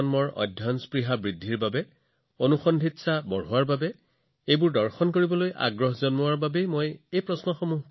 মই এই প্ৰশ্নবোৰ সুধিছিলো যাতে আমাৰ নতুন প্ৰজন্ম কৌতূহলী হওক তেওঁলোকে সেইবোৰৰ বিষয়ে অধিক পঢ়িক সেইবোৰ চাবলৈ যাওক